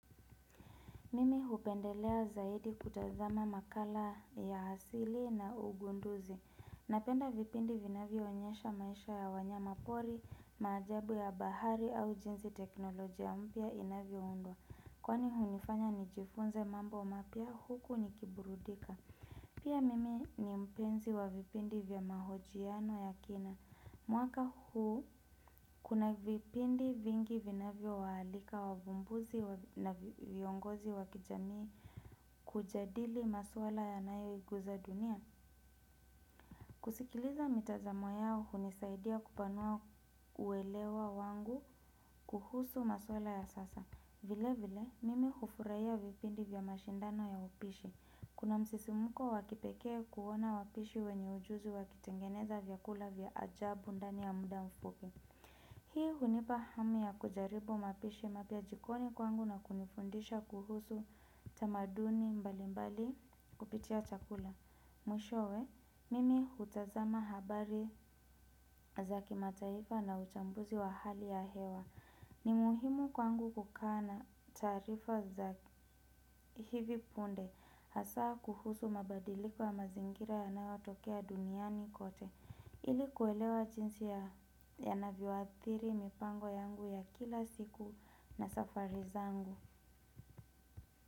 Mimi hupendelea zaidi kutazama makala ya asili na ugunduzi. Napenda vipindi vinavyo onyesha maisha ya wanyama pori, maajabu ya bahari au jinsii teknolojia mpya inavyoundwa. Kwani hunifanya nijifunze mambo mapya huku nikiburudika. Pia mimi ni mpenzi wa vipindi vya mahojiano ya kina. Mwaka huu kuna vipindi vingi vinavyo waalika wavumbuzi na viongozi wakijamii kujadili maswala ya nayo guza dunia. Kusikiliza mitazamo yao hunisaidia kupanua uwelewa wangu kuhusu maswala ya sasa. Vile vile, mimi kufurahia vipindi vya mashindano ya upishi. Kuna msisimuko wakipekee kuona wapishi wenye ujuzi wakitengeneza vyakula vya ajabu ndani ya muda mfupi. Hii hunipa hamu ya kujaribu mapishi mapya jikoni kwangu na kunifundisha kuhusu tamaduni mbali mbali kupitia chakula. Mwishowe, mimi hutazama habari za kimataifa na uchambuzi wa hali ya hewa. Ni muhimu kwangu kukaa na taarifa za hivi punde. Hasaa kuhusu mabadiliko ya mazingira yanayotokea duniani kote. Ili kuelewa jinsi yanavyoathiri mipango yangu ya kila siku na safari zangu.